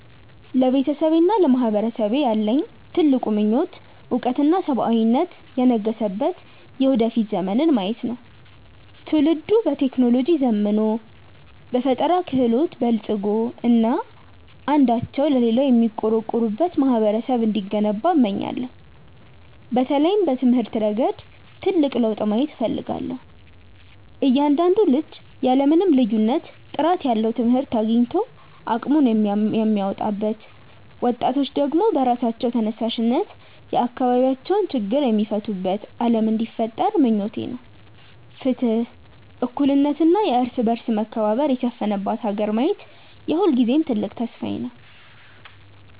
ለቤተሰቤና ለማህበረሰቤ ያለኝ ትልቁ ምኞት እውቀትና ሰብአዊነት የነገሰበት የወደፊት ዘመንን ማየት ነው። ትውልዱ በቴክኖሎጂ ዘምኖ፣ በፈጠራ ክህሎት በልፅጎ እና አንዳቸው ለሌላው የሚቆረቆሩበት ማህበረሰብ እንዲገነባ እመኛለሁ። በተለይም በትምህርት ረገድ ትልቅ ለውጥ ማየት እፈልጋለሁ፤ እያንዳንዱ ልጅ ያለ ምንም ልዩነት ጥራት ያለው ትምህርት አግኝቶ አቅሙን የሚያወጣበት፣ ወጣቶች ደግሞ በራሳቸው ተነሳሽነት የአካባቢያቸውን ችግር የሚፈቱበት ዓለም እንዲፈጠር ምኞቴ ነው። ፍትህ፣ እኩልነት እና የእርስ በርስ መከባበር የሰፈነባት ሀገር ማየት የሁልጊዜም ትልቅ ተስፋዬ ነው።